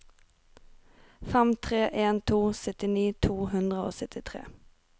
fem tre en to syttini to hundre og syttitre